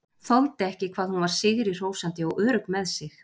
Þoldi ekki hvað hún var sigri hrósandi og örugg með sig.